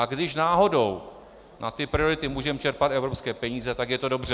A když náhodou na ty priority můžeme čerpat evropské peníze, tak je to dobře.